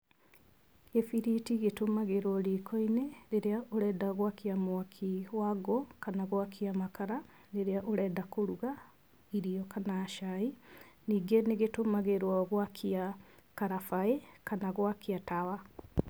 Gĩbiriti gĩtũmagĩrwo riko-inĩ rĩrĩa ũrenda gwakia mwaki wa ngũ, kana gwakia makara, rĩrĩa ũrenda kũruga irio kana cai. Ningĩ nĩgĩtũmagĩrwo gwakia karabaĩ kana gwakia tawa.